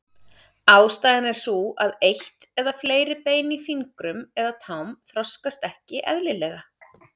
Ástæðan er sú að eitt eða fleiri bein í fingrum eða tám þroskast ekki eðlilega.